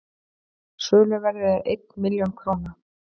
söluverðið er einn milljón króna